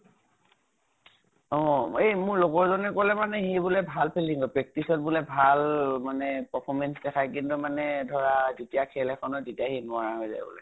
অ এই মোৰ লগৰ জনে কলে মানে সি বুলে ভাল fielding ত practice t ত বুলে ভাল মানে performance দেখায়। কিন্তু মানে ধৰা যেতিয়া খেল এখনত তেতিয়া সি নোৱাৰা হৈ যাই বুলে।